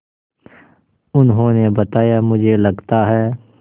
उन्होंने बताया मुझे लगता है